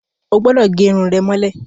O gbúdọ̀ gẹ irun rẹ mọ́lẹ̀!